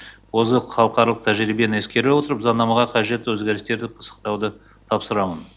озық халықаралық тәжірибені ескере отырып заңнамаға қажет өзгерістерді пысықтауды тапсырамын